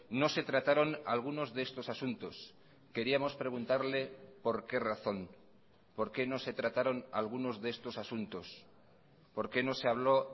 no se trataron algunos de estos asuntos queríamos preguntarle por qué razón por qué no se trataron algunos de estos asuntos por qué no se habló